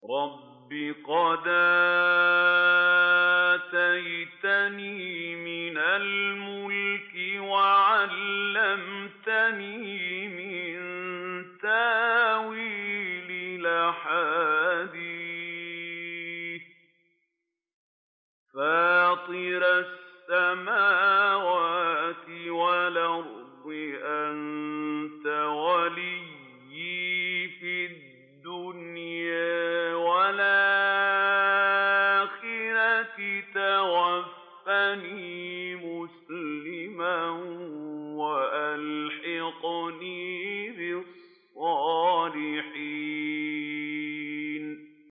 ۞ رَبِّ قَدْ آتَيْتَنِي مِنَ الْمُلْكِ وَعَلَّمْتَنِي مِن تَأْوِيلِ الْأَحَادِيثِ ۚ فَاطِرَ السَّمَاوَاتِ وَالْأَرْضِ أَنتَ وَلِيِّي فِي الدُّنْيَا وَالْآخِرَةِ ۖ تَوَفَّنِي مُسْلِمًا وَأَلْحِقْنِي بِالصَّالِحِينَ